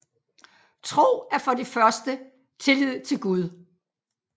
Tro er for det første tillid til Gud